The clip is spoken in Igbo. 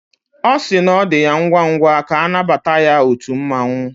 Ọ si na ọ dị ya ngwa ngwa ka anabata ya otú mmanwu